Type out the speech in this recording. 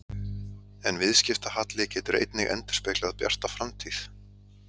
En viðskiptahalli getur einnig endurspeglað bjarta framtíð.